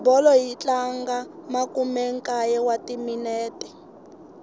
bolo yi tlanga makumenkaye wa timinete